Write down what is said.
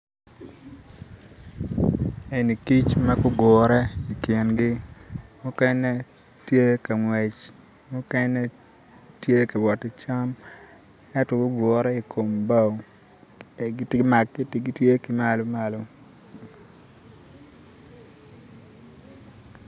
Eni kic ma gugure ikingi mukene tye ka ngwec mukene tye ka wot ki cam ento gugure ikom bao gitye ki malo malo